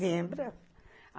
Lembra.